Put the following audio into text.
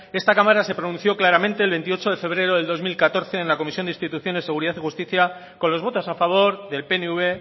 esta cámara se pronunció claramente el veintiocho de febrero del dos mil catorce en la comisión de instituciones seguridad y justicia con los votos a favor del pnv